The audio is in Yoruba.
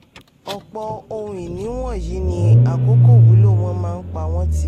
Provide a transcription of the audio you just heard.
ọ̀pọ̀ ohun ìní wọ̀nyí ní àkókò wúlò wọ́n máa ń pa wọ́n tì.